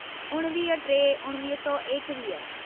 उणवीह टे उणिवीह सौ एकवीह